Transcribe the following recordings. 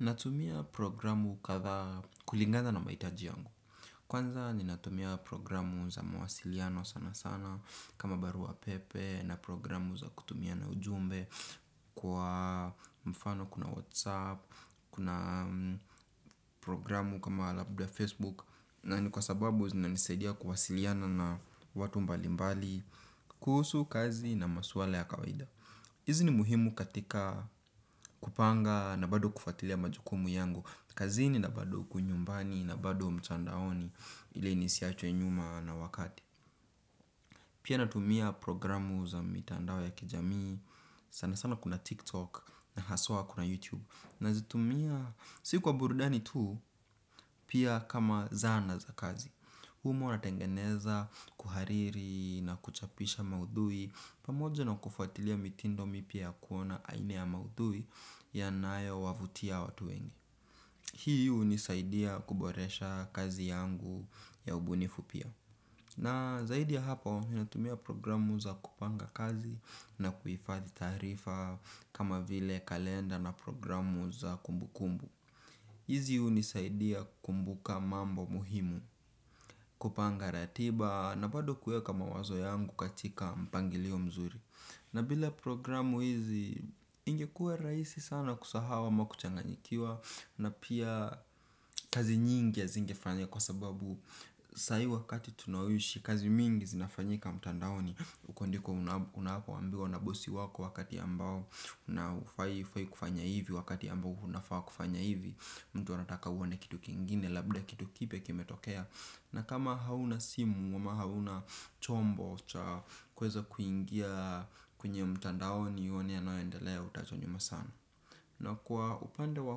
Natumia programu kadhaa kulingana na mahitaji yangu. Kwanza ninatumia programu za mawasiliano sana sana kama barua pepe na programu za kutumiana ujumbe kwa mfano kuna whatsapp, kuna programu kama labda facebook. Na ni kwa sababu zinanisaidia kuwasiliana na watu mbali mbali kuhusu kazi na maswala ya kawaida. Izi ni muhimu katika kupanga na bado kufuatilia majukumu yangu kazini na bado huku nyumbani na bado mtandaoni ili inisiachwe nyuma na wakati. Pia natumia programu za mitandao ya kijamii sana sana kuna tiktok na haswa kuna youtube. Nazitumia si kwa burudani tu pia kama zana za kazi. Humo natengeneza, kuhariri na kuchapisha maudhui pamoja na kufuatilia mitindo mipya ya kuona aina ya maudhui yanayowavutia watu wengi. Hii unisaidia kuboresha kazi yangu ya ubunifu pia. Na zaidi ya hapo, ninatumia programu za kupanga kazi na kuifadhi taarifa kama vile kalenda na programu za kumbukumbu. Hizi unisaidia kumbuka mambo muhimu, kupanga ratiba na bado kuiweka mawazo yangu katika mpangilio mzuri. Na bila programu hizi ingekuwa raisi sana kusahau ama kuchanganyikiwa. Na pia kazi nyingi hazingefanya kwa sababu sai wakati tunaoishi kazi mingi zinafanyika mtandaoni. Uko ndiko unakoambiwa na bosi wako wakati ambao na ufai kufanya hivi wakati ambao unafaa kufanya hivi. Mtu anataka uone kitu kingine labda kitu kipya kimetokea. Na kama hauna simu ama hauna chombo cha kuweza kuingia kwenye mtandaoni uone yanayoendelea utaachwa nyuma sana. Na kwa upande wa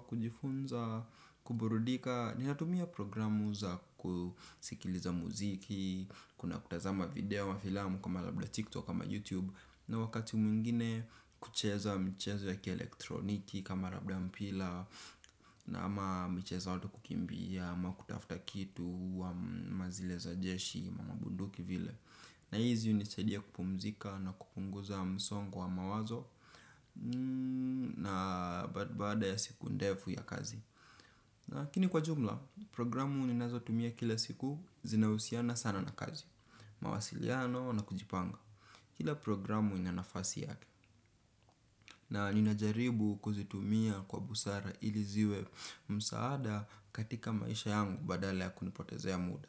kujifunza kuburudika ninatumia programu za kusikiliza muziki. Kuna kutazama video ama filamu kama labda tiktok kama youtube. Na wakati mwingine kucheza mchezo ya ki elektroniki kama labda mpila. Na ama michezo ya watu kukimbia ama kutafuta kitu ama zile za jeshi mamabunduki vile. Na hizi unisaidia kupumzika na kupunguza msongo wa mawazo. Na baada ya siku ndefu ya kazi lakini kwa jumla programu ninazotumia kila siku zinausiana sana na kazi. Mawasiliano na kujipanga. Kila programu ina nafasi yake. Na ninajaribu kuzitumia kwa busara ili ziwe msaada katika maisha yangu badala ya kunipotezea muda.